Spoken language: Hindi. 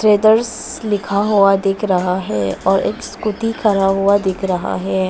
ट्रेडर्स लिखा हुआ दिख रहा है और एक स्कूटी खड़ा हुआ दिख रहा है।